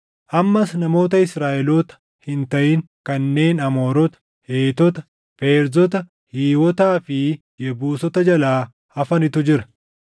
Ammas namoota Israaʼeloota hin taʼin kanneen Amoorota, Heetota, Feerzota, Hiiwotaa fi Yebuusota jalaa hafanitu jira.